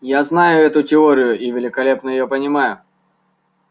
я знаю эту теорию и великолепно её понимаю